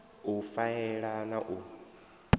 a faela na u a